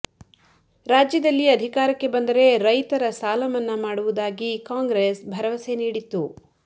ರಾಜ್ಯದಲ್ಲಿ ಅಧಿಕಾರಕ್ಕೆ ಬಂದರೆ ರೈತರ ಸಾಲಮನ್ನಾ ಮಾಡುವುದಾಗಿ ಕಾಂಗ್ರೆಸ್ ಭರವಸೆ ನೀಡಿತ್ತು